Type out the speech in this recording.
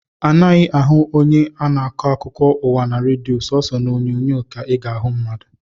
A naghị ahụ onye na-akọ akụkọ ụwa na redio, sooso n’onyonyo ka ị ga-ahụ mmadụ